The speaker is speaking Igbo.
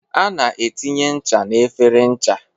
A na etinye ncha n'efere ncha.